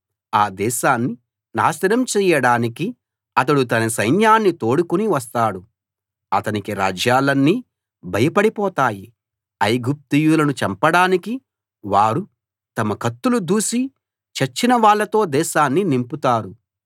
ఆ దేశాన్ని నాశనం చేయడానికి అతడు తన సైన్యాన్ని తోడుకుని వస్తాడు అతనికి రాజ్యాలన్నీ భయపడిపోతాయి ఐగుప్తీయులను చంపడానికి వారు తమ కత్తులు దూసి చచ్చిన వాళ్ళతో దేశాన్ని నింపుతారు